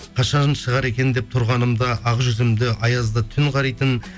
қашан шығар екен деп тұрғанымда ақ жүзімді аязды түн қаритын